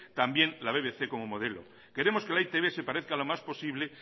también la bbc como modelo queremos que la e i te be se parezca lo más posible